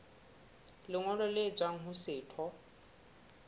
lengolo le tswang ho setho